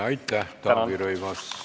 Aitäh, Taavi Rõivas!